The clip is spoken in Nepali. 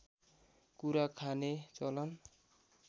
कुरा खाने चलन